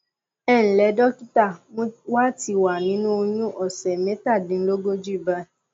ẹ ǹlẹ dọkítà mo wà ti wà nínú oyún òsẹ mẹtàdínlógójì báyìí